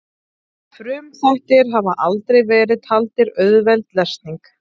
Frumþættir hafa aldrei verið taldir auðveld lesning.